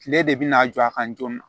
Kile de bina a jɔ a kan joona